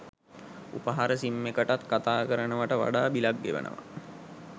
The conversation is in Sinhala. උපහාර සිම් එකටත් කතා කරනව‍ට වඩා බිලක් ගෙවනවා